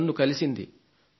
తనకు తొమ్మిదేళ్లు